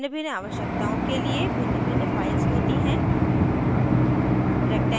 भिन्नभिन्न आवश्यकताओं के लिए भिन्नभिन्न फाइल्स होती हैं